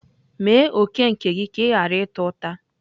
Mee òkè gị ka ị ghara ịta ụta.